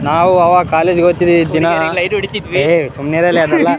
ನಾವು ಅವಾಗ ಕಾಲೇಜ ಇಗೆ ಹೋಗ್ತಿದ್ವಿ ದಿನ ಏಯ್ ಸುಮ್ನಿರಲ್ಲೋ ಅದಲ್ಲ.